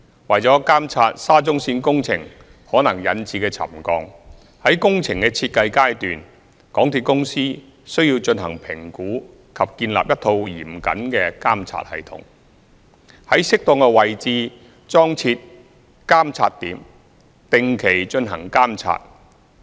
為監察沙中線工程可能引致的沉降，在工程的設計階段，香港鐵路有限公司需要進行評估及建立一套嚴謹的監察系統，在適當的位置裝設監測點，定期進行監察。